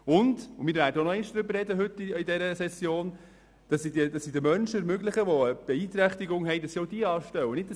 Während dieser Session werden wir auch noch darüber sprechen, dass sie auch Menschen mit Beeinträchtigungen anstellen und sie nicht einfach rauswerfen.